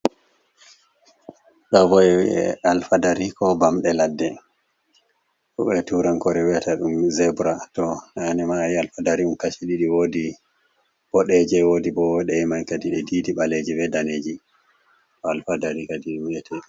Ɗo bo ɗe vi'e alfadari ko bamɗe ladde, be turankoore wi’ata ɗum zebra, to naane ma a yi alfadari ɗum kaci ɗiɗi, woodi boɗeeje, woodi bo woɗeye ɗe diidi diidi, ɓaleji be daneeji ɗo alfadari kadi wi'ete.